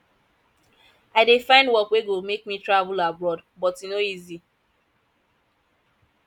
i dey find work wey go make me travel abroad but e no easy